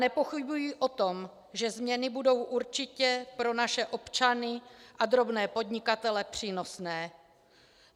Nepochybuji o tom, že změny budou určitě pro naše občany a drobné podnikatele přínosné.